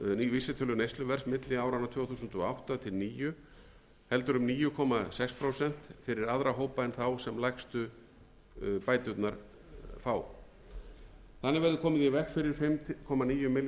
vísitölu neysluverðs milli áranna tvö þúsund og átta og tvö þúsund og níu heldur um níu komma sex prósent fyrir aðra hópa en þá sem lægstu bæturnar fá þannig verður komið í veg fyrir fimm komma níu milljarða króna aukningu